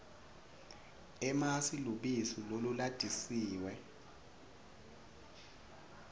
emasi lubisi lolulatisiwe